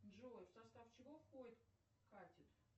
джой в состав чего входит катет